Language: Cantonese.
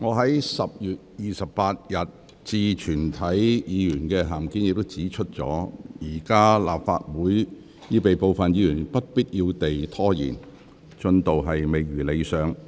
各位議員，我在10月28日致全體議員的函件中已指出，現時立法會會議已被部分議員不必要地拖延，進度未如理想。